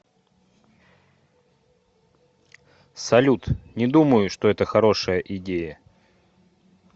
салют не думаю что это хорошая идея